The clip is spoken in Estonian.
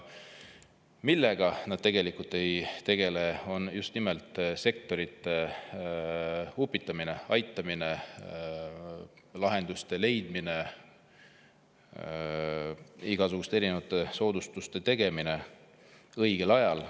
Aga nad ei tegele sektorite upitamise, aitamise, lahenduste leidmise ja igasuguste erinevate soodustuste tegemisega õigel ajal.